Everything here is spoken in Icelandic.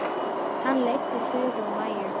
Hann leiddi Þuru og Maju.